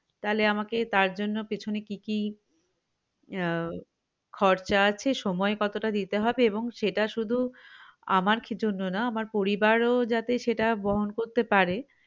তালে আমাকে তার জন্য পেছনে কি কি আহ খরচা আছে সময় কতটা দিতে হবে এবং সেটা শুধু আমার কিছুর জন্য না আমার পরিবারও যাতে বহন করতে পারে